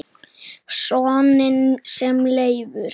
Soninn sem Leifur